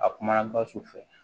A kumana basi fɛ